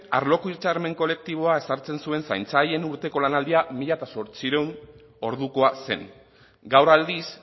arloko hitzarmen kolektiboa sartzen zuen zaintzaileen urteko lanaldia mila zortziehun ordukoa zen gaur aldiz